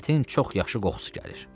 Ətin çox yaxşı qoxusu gəlir.